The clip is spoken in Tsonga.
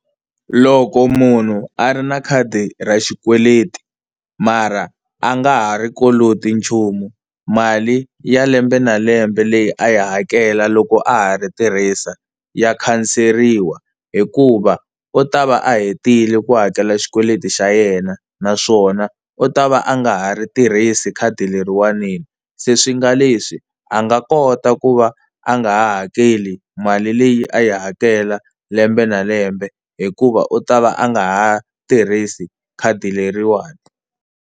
Loko munhu a ri na khadi ra xikweleti mara a nga ha ri koloti nchumu mali ya lembe na lembe leyi a yi hakela loko a ha ri tirhisa ya khanseriwa, hikuva u ta va a hetile ku hakela xikweleti xa yena naswona u ta va a nga ha ri tirhisi khadi leriwani, se swi nga leswi a nga kota ku va a nga hakeli mali leyi a yi hakela lembe na lembe hikuva u ta va a nga ha tirhisi khadi leriwani.